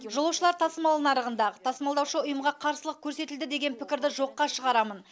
жолаушылар тасымал нарығында тасымалдаушы ұйымға қарсылық көрсетілді деген пікірді жоққа шығарамын